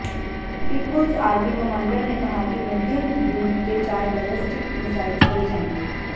people's army commander ने कहा कि मध्यम दूरी के चार बैलेस्टिक मिसाइल छोड़े जाएंगे